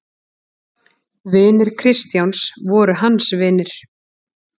Vinir Kristjáns voru hans vinir.